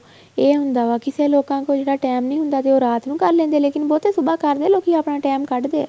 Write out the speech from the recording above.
ਏ ਹੁੰਦਾ ਵਾ ਕਿਸੇ ਲੋਕਾਂ ਇਹਨਾ time ਨਹੀਂ ਹੁੰਦਾ ਵੀ ਉਹ ਰਾਤ ਨੂੰ ਕਰ ਲੈਂਦੇ ਏ ਲੇਕਿਨ ਬਹੁਤੇ ਸੁਭਾ ਕਰਦੇ ਏ ਲੋਕੀਂ ਆਪਣਾ time ਕੱਢਦੇ ਏ